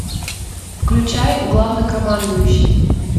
включай главнокомандующий